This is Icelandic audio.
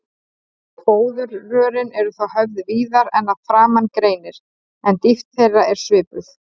Fóðurrörin eru þá höfð víðari en að framan greinir, en dýpt þeirra er svipuð.